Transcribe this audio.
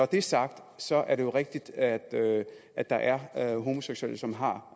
det er sagt så er det jo rigtigt at at der er homoseksuelle som har